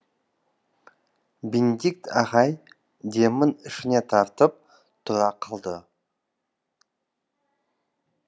бенедикт ағай демін ішіне тартып тұра қалды